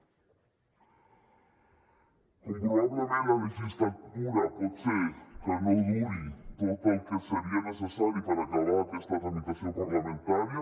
com que probablement la legislatura pot ser que no duri tot el que seria necessari per acabar aquesta tramitació parlamentària